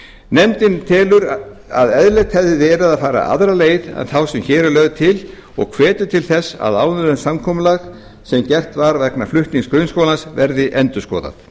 nefndin telur að eðlilegt hefði verið að fara aðra leið en þá sem hér er lögð til og hvetur til þess að áðurnefnt samkomulag sem gert var vegna flutnings grunnskólans verði endurskoðað